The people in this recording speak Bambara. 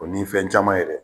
O ni fɛn caman yɛrɛ